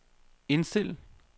indstil